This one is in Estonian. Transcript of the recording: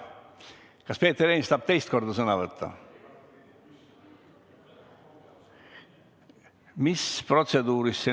Kas Peeter Ernits tahab teist korda sõna võtta?